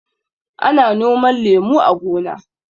Ana noman lemu a gona.